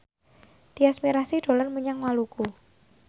Tyas Mirasih dolan menyang Maluku